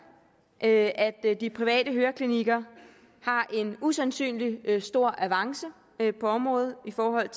at de private høreklinikker har en usandsynlig stor avance på området i forhold